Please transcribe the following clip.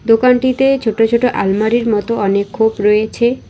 দোকানটিতে ছোট ছোট আলমারির মতো অনেক খোপ রয়েছে।